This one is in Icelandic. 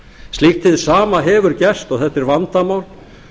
slíkt hið sama hefur gerst og þetta er vandamál